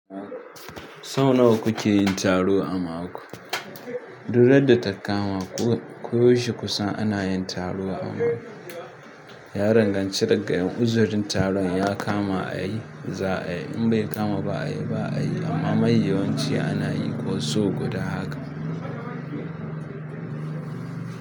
Sau nawa kuke yin taro a mako? Duk randa da takama ko shi kusa ana yin taro a mako. Ya danganci daga uzurin taron ya kama a yi za a yi in bai kama ba a yi ba a yi amma mai yawanci ana yi ko so guda haka.